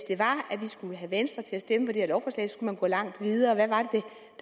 vi skulle have venstre til at stemme for det her lovforslag skulle man gå langt videre hvad